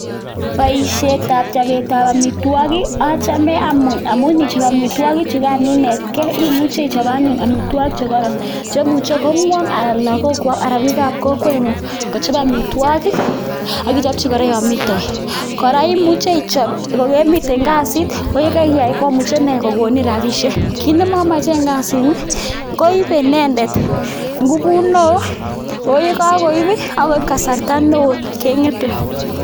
Boisietab chobetab amitwogik achame amun inichob amitwogichugan inetgei, imuche ichob anyun amitwogik che koron che imuche kong'wong anan lagokwok anan biikab kokweng'ung kochob amitwogik ak ichopchi kora yon mi toek. Kora imuche ichob kogemiten kasit ko ye keiyai komuche inee kogonin rabishek. Kiit nemomochen kasini ko ibe inendet ngubut neo, oh ye kagoib ii ak koib kasarta neo keng'ete.